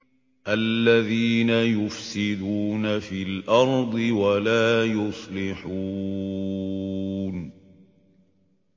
الَّذِينَ يُفْسِدُونَ فِي الْأَرْضِ وَلَا يُصْلِحُونَ